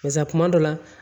Barisa kuma dɔ la